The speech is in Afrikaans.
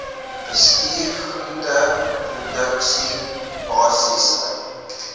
bestuur groenteproduksie basiese